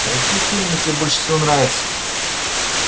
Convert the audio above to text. а какие фильмы тебе больше всего нравятся